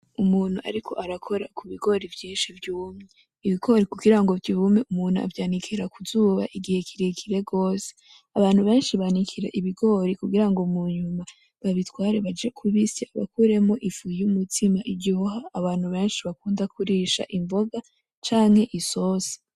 Umuntu ariko arakora ku bigori vyinshi vyumye. Ibigori kugira ngo vyume avyanikira ku zuba igihe kirekire gose. Abantu benshi banikira ibigori kugira ngo munyuma babitware baje kubisya bakuremwo ifu y'umutsima iryoha abantu benshi bakunda kurisha imboga canke isosi.